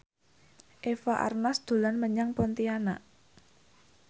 Eva Arnaz dolan menyang Pontianak